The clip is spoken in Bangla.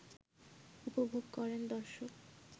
উপভোগ করেন দর্শক